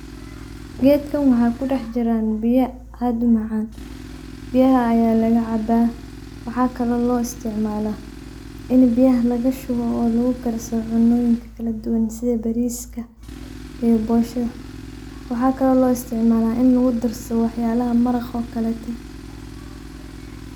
Geedkan waxaa kudax jiraan biya aad umacaan, biyaha ayaa laga cabaa, waxaa kale oo loo isticmaalaa ,ini biyaha laga shubo oo lagu karsado cunooyinka kala duban, sidha bariiska iyo boosha, waxaa kale oo loo isticmaalaa in lagu darsado wax yaalaha maraqa oo kaleete.